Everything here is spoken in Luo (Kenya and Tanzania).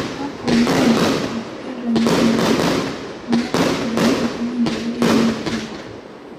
Kapo ni ng’injono ok kel ranyisi mag tuo, nyalo bedo ni ok owinjore imiye thieth.